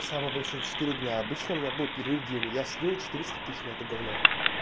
самый большой четыре дня обычно у меня был перерыв день я слил четыреста тысяч на это говно